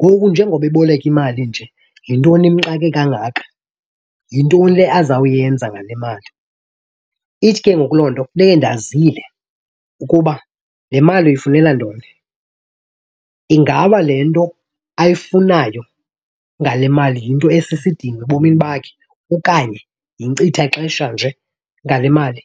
Ngoku njengoba eboleka imali nje yintoni le imxake kangaka? Yintoni le azawuyenza ngale mali? Ithi ke ngoku loo nto funeke ndazile ukuba le mali uyifunela ntoni. Ingaba le nto ayifunayo ngale mali yinto esisidingo ebomini bakhe okanye yinkcithaxesha nje ngale mali?